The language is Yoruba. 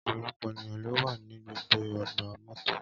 Ọpọlọpọ eniyan lo wa ni gbogbo ọgba-mọto.